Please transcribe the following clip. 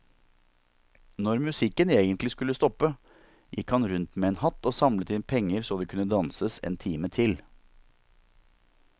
Når musikken egentlig skulle stoppe, gikk han rundt med en hatt og samlet inn penger så det kunne danses en time til.